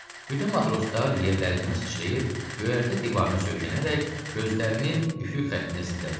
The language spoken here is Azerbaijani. Bütün matroslar yerlərindən sıçrayıb göyərtə divarına söykənərək gözlərini üfüq xəttinə zillədilər.